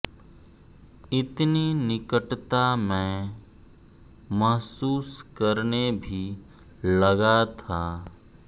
इतनी निकटता मैं महसूस करने भी लगा था